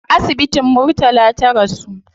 A asibitin murtala ta rasu